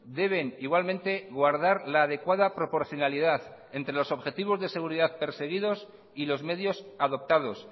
deben igualmente guardar la adecuada proporcionalidad entre los objetivos de seguridad perseguidos y los medios adoptados